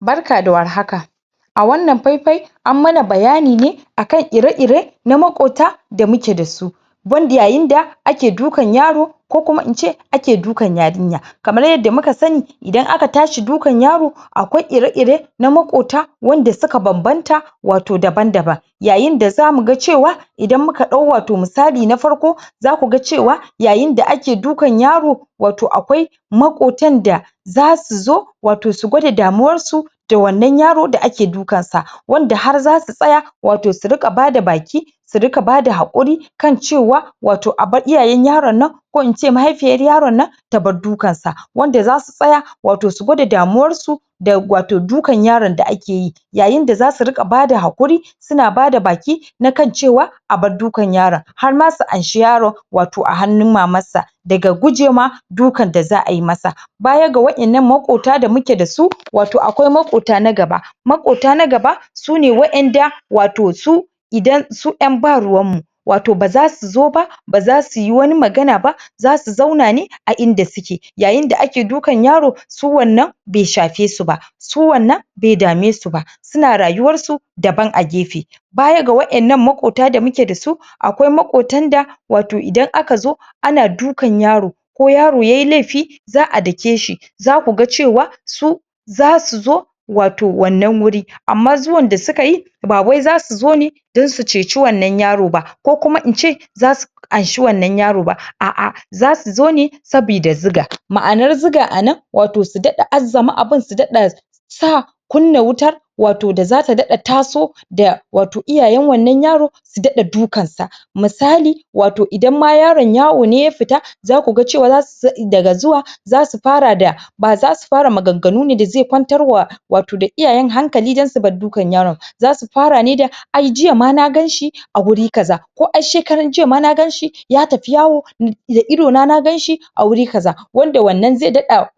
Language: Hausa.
Barka da war haka A wannan fai fai An mana bayani ne A kan ire ire Na makwabta Da muke dasu Banda yayin da ake dukan yaro Ko kuma ince ake dukan yarinya Kamar yadda muka sani Idan aka tashi dukan yaro Akwai ire ire Na makwabta Wanda suka babbanta Wato daban daban Yayin da zamu ga cewa Idan muka dau wato misali na farko Za kuga cewa Yayin da ake dukan yaro Wato akwai Makwabtan da Zasu zo Wato su gwada damuwar su Da wannan yaro da ake dukan sa Wanda har zasu tsaya Wato su ringa bada baki Su ringa bata haƙuri Kan cewa Wato abar iyayen yaron na Ko ince mahaifiyar yaron na Tabar dukansa wanda zasu tsaya Wato su gwada damuwar su Da wato dukan yaron da akeyi Yayin da zasu ringa bada haƙuri Suna bada baki Na kan cewa Abar dukan yaron Harma su amshi yaron Daga hannun mamarsa Daga gujewa dukan da za'a masa Bayan ga wadannan makwabta da muke dasu Wato akwai makwabta na gaba Makwabta na gaba Sune wadanda Wato su, Idan su yan ba ruwanmu Wato baza suzo ba Baza suyi wani magana ba Zasu zauna ne A inda suke Yayin da ake dukan yaro Su wannan bai shafe suba Su wannan bai dame suba Suna rayuwar su Daban a gefe Bayan ga wadannan makwabta da muke dasu Akwai makwabtan da Wato idan aka zo Ana dukan yaro Ko yaro yayi laifi Za'a dakeshi Zakuga cewa Su Za suzo Wato wannan wuri Amma zuwan da sukayi Bawai zasu zone Don su ceci wannan yaro ba Ko kuma ince Zasu Amshi wannan yaro ba, a'a zasu zone Saboda Zuga Ma'anar zuga anan Wato su ɗaɗa azzama abun su ɗaɗa Sa Kunna wuta Wato da zata ɗaɗa taso Da Wato iyayen wannan yaron Su ɗaɗa dukan sa Misali Wato idan ma yaron yawo ne ya fita Zaku ga cewa daga zuwa Zasu fara da Ba zasu fara maganganu da zasu kwantar ma wato Iyayen hankali don subar dukan yaron Zasu fara ne da Ai jiya ma naganshi A wuri kaza Ko shekaren jiya ma naganshi Ya tafi yawo Da ido na naganshi A wuri kaza Wanda wannan zai ɗaɗa